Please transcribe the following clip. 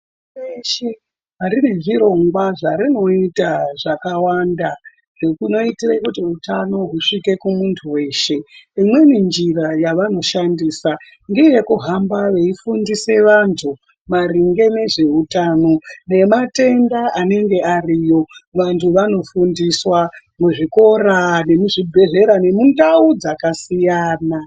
Pashi reshe rine zvirongwa zvarinoita zvakawanda zvinoite kuti utano husvike kumuntu weshe. Imweni njira yavanoshandisa ngeyekuhamba veifundise vantu maringe ngezveutano nematenda anenge ariyo vantu vanofundiswa, muzvikora, muzvibhedhlera nemundau dzakasiyana.